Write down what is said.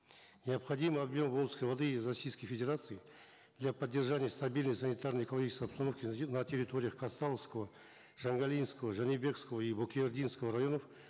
необходимый объем волжской воды из российской федерации для поддержания стабильной санитарно экологической обстановки на территориях казтауского жангалинского жанибекского и бокейординксого районов